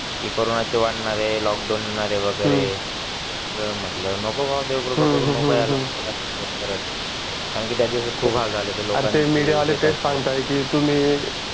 corona वाढणार आहे lockdown लागणार आहे हम्म नको यायला देवा कृपा करून ह हम्मकारण त्या दिवसात खूप हाल झाले होते